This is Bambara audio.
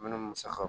Minnu musakaw